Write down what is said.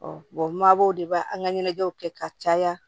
mabɔw de b'a an ka ɲɛnajɛw kɛ ka caya